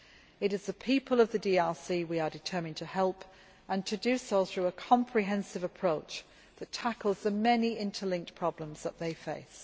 It is the people of the DRC we are determined to help, and to do so through a comprehensive approach that tackles the many interlinked problems that they face.